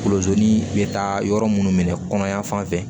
Kolosonin bɛ taa yɔrɔ minnu minɛ kɔnɔya fan fɛ